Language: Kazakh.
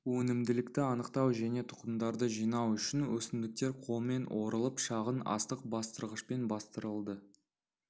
өнімділікті анықтау және тұқымдарды жинау үшін өсімдіктер қолмен орылып шағын астық бастырғышпен бастырылды